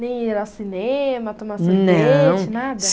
Nem ir ao cinema, tomar sorvete, nada?